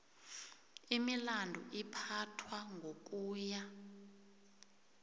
imilandu iphathwa ngokuya